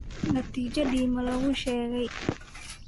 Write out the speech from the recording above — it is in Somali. Natiijadii ma laguu sheegay?